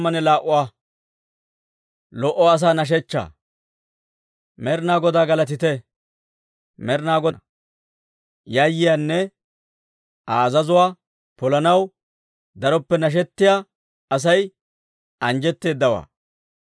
Med'inaa Godaa galatite! Med'inaa Godaw yayyiyaanne, Aa azazuwaa polanaw daroppe nashetiyaa asay, anjjetteedawaa.